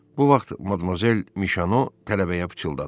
Bu vaxt Madamuzel Mişano tələbəyə pıçıldadı: